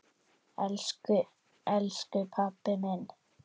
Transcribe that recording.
Elsku elsku pabbi minn.